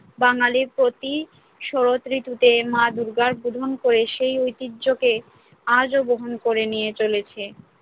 বাঙালি প্রতি শরৎ ঋতুতে মা দুর্গার বোধন করে সেই ঐতিহ্যকে আজও বহন করে নিয়ে চলেছে।